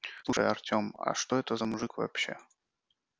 слушай артем а что это за мужик вообще